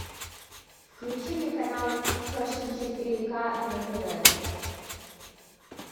включи мне канал фэшн четыре к на тв